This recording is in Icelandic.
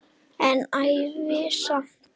En ævi samt.